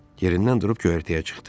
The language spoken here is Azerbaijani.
Yerindən durub köhərtəyə çıxdı.